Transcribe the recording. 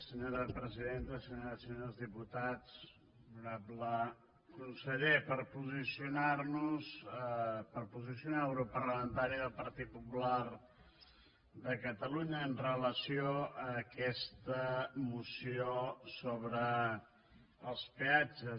senyores i senyors diputats honorable conseller per posicionar nos per posicionar el grup parlamentari del partit popular de catalunya amb relació a aquesta moció sobre els peatges